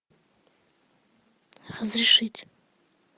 разрешить